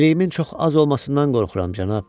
Biliyimin çox az olmasından qorxuram, cənab.